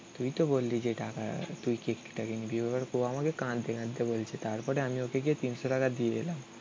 তুই তো বললি তুই যে টাকা. তুই কেকটা কিনবি এবার. ও আমাকে কাঁদতে কাঁদতে বলছে. তারপরে আমি তিনশো টাকা দিয়ে এলাম.